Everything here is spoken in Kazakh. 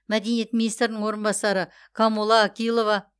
мәдениет министрінің орынбасары камола акилова